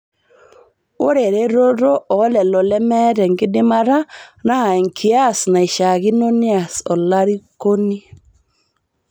Ore eretoto oo lelo lemeeta enkidimata naa enkias naishaakino neas olairukoni